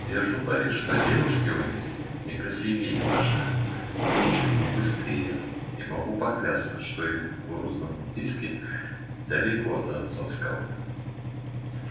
держу пари что девушки у них не красивее наших и лошади не быстрее и могу поклясться что их кукурузному виски далеко до отцовского